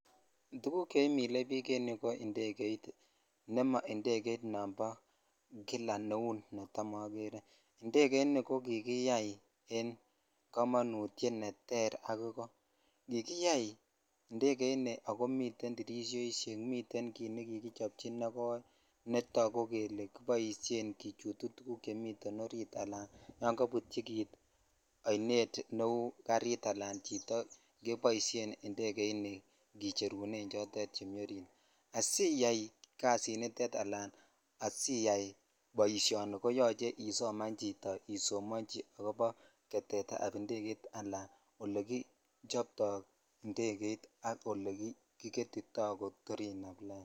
Tuguk chemile bik en yuu ko indeget ne monobo kawaita nebo kila not tamogeree indegeini ko kikiyai en komonutyit enter ak iko kikiyai indegeni akomi tirishoishekak komuten kit nekoi nekikichobchi netogu kele kiboshen kichutu tuguk cheniten orit yon kobutyi kit oinet neu garitalan chito keboisien indegeni kicherunen chemi orit kiyo kasiniton ala asiyai boishoni koyoche isoman chito isomonyi akobo getet ab indeget ala olekichoptoi indeget ak ole kigetitoi kotor inam lain.